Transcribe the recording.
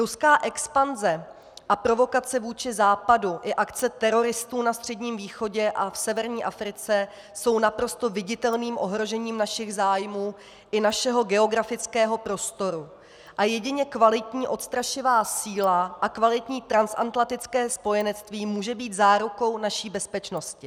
Ruská expanze a provokace vůči Západu i akce teroristů na Středním východě a v severní Africe jsou naprosto viditelným ohrožením našich zájmů i našeho geografického prostoru a jedině kvalitní odstrašivá síla a kvalitní transatlantické spojenectví může být zárukou naší bezpečnosti.